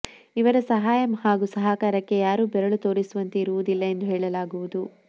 ಇವರ ಸಹಾಯ ಹಾಗೂ ಸಹಕಾರಕ್ಕೆ ಯಾರೂ ಬೆರಳು ತೋರಿಸುವಂತೆ ಇರುವುದಿಲ್ಲ ಎಂದು ಹೇಳಲಾಗುವುದು